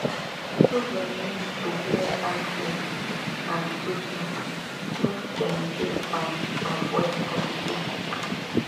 children need to wear hand gloves and face masks make dem dey fine avoid complications